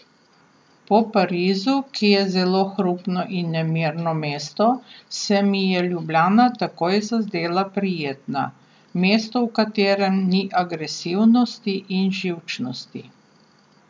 Po Parizu, ki je zelo hrupno in nemirno mesto, se mi je Ljubljana takoj zazdela prijetna, mesto, v katerem ni agresivnosti in živčnosti.